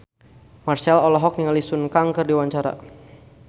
Marchell olohok ningali Sun Kang keur diwawancara